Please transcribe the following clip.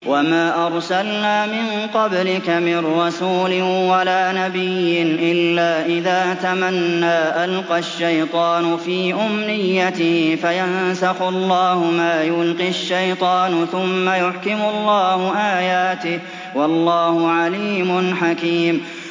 وَمَا أَرْسَلْنَا مِن قَبْلِكَ مِن رَّسُولٍ وَلَا نَبِيٍّ إِلَّا إِذَا تَمَنَّىٰ أَلْقَى الشَّيْطَانُ فِي أُمْنِيَّتِهِ فَيَنسَخُ اللَّهُ مَا يُلْقِي الشَّيْطَانُ ثُمَّ يُحْكِمُ اللَّهُ آيَاتِهِ ۗ وَاللَّهُ عَلِيمٌ حَكِيمٌ